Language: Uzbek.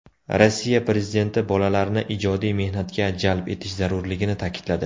Rossiya prezidenti bolalarni ijodiy mehnatga jalb etish zarurligini ta’kidladi.